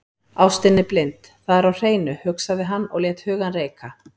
Ástin er blind, það er á hreinu, hugsaði hann og lét hugann reika.